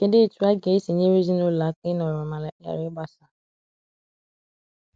kedụ etụ aga esi nyere ezinulo aka inọrọ ma ghara igbasa